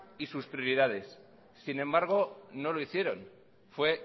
y sus prioridades sin embargo no lo hicieron fue